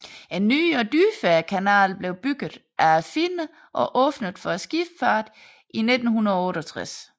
En ny og dybere kanal blev bygget af finnerne og åbnet for skibsfarten i 1968